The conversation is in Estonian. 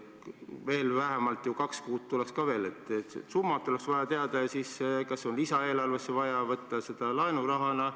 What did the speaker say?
Veel tuleks ju vähemalt kaks kuud, mille summat oleks vaja teada, ja siis peaks arvestama, kas lisaeelarvesse on vaja võtta laenurahana.